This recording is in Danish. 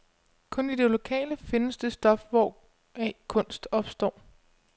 Kun i det lokale findes det stof, hvoraf kunst opstår.